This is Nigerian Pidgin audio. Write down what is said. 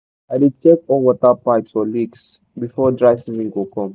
i dey check all water pipes for leaks before dry season go come.